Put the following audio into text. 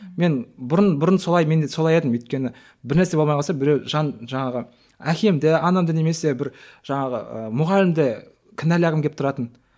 мен бұрын бұрын солай мен де солай едім өйткені бірнәрсе болмай қалса біреу жаңағы әкемді анамды немесе бір жаңағы ы мұғалімді кінәлағым келіп тұратын